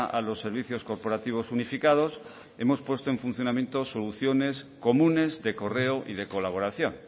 a los servicios corporativos unificados hemos puesto en funcionamiento soluciones comunes de correo y de colaboración